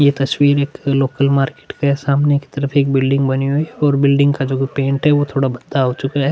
ये तस्वीर एक लोकल मार्केट के सामने की तरफ एक बिल्डिंग बने हुए और बिल्डिंग का जो पेंट है वो थोड़ा भत्ता हो चुका हैं।